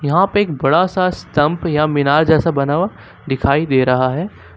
यहां पे एक बड़ा सा स्तंप या मीनार जैसा बना हुआ दिखाई दे रहा है।